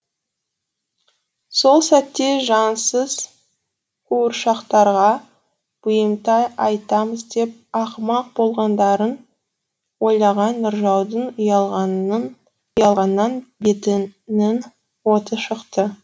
сол сәтте жансыз қуыршақтарға бұйымтай айтамыз деп ақымақ болғандарын ойлаған нұржаудың ұялғаннан бетінің оты шықты